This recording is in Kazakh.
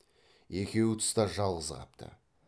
екеуі тыста жалғыз қапты